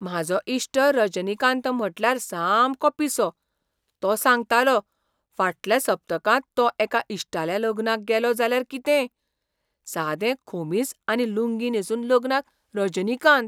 म्हाजो इश्ट रजनीकांत म्हटल्यार सामको पिसो. तो सांगतालो, फाटल्या सप्तकांत हो एका इश्टाल्या लग्नाक गेलो, जाल्यार कितें? सादें खोमीस आनी लुंगी न्हेसून लग्नाक रजनीकांत!